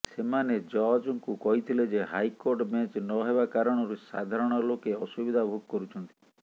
ସେମାନେ ଜଜଙ୍କୁ କହିଥିଲେ ଯେ ହାଇକୋର୍ଟ ବେଞ୍ଚ ନହେବା କାରଣରୁ ସାଧାରଣ ଲୋକେ ଅସୁବିଧା ଭୋଗ କରୁଛନ୍ତି